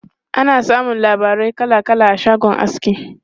Ana samun labarai kala kala a shagon aski.